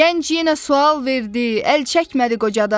Gənc yenə sual verdi, əl çəkmədi qocadan.